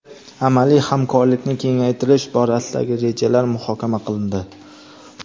amaliy hamkorlikni kengaytirish borasidagi rejalar muhokama qilindi.